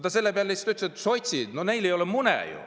Ta selle peale lihtsalt ütles, et sotsidel ei ole ju mune.